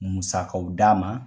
Musakaw d'a ma.